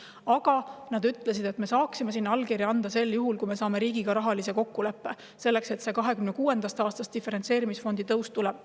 Aga nad ütlesid, et nad saavad sinna allkirja anda sel juhul, kui riigiga saadakse rahaline kokkulepe, et 2026. aastast diferentseerimisfond kasvab.